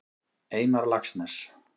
Einar Laxness.